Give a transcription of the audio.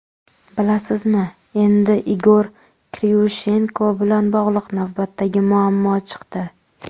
Bilasizmi, endi Igor Kriushenko bilan bog‘liq navbatdagi muammo chiqdi.